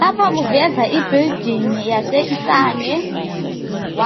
lapha kuvezwa i building yase isane